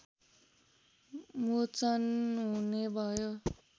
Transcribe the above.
मोचन हुने भयो